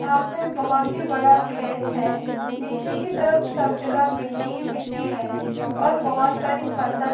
यह पे बहुत बड़ा केथ हे नीचे की तरह कब जगा मिटटी की मिटटी हे और बहुत साडी फसल --